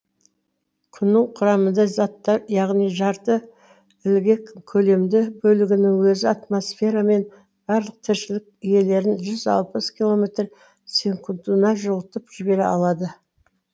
күннің құрамында заттар яғни жарты ілгек көлемді бөлігінің өзі атмосфера мен барлық тіршілік иелерін жүз алпыс километр секундына жұтып жібере алады